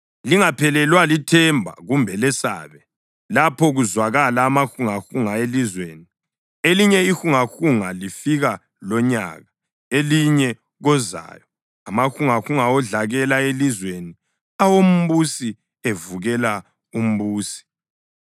Lingaphelelwa lithemba kumbe lesabe lapho kuzwakala amahungahunga elizweni; elinye ihungahunga lifika lonyaka, elinye kozayo, amahungahunga odlakela elizweni awombusi evukela umbusi.